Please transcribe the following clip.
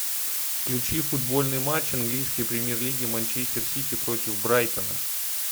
включи футбольный матч английской премьер лиги манчестер сити против брайтона